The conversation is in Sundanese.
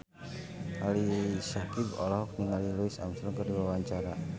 Ali Syakieb olohok ningali Louis Armstrong keur diwawancara